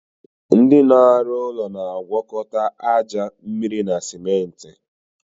Ndị na arụ ụlọ na agwakọta aja, mmịrị na simenti